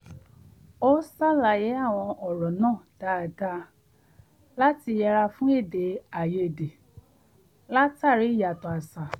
ó ṣàlàyé àwọn ọ̀rọ̀ náà dáadáa láti yẹra fún èdè àìyedè látàrí ìyàtọ̀ àṣà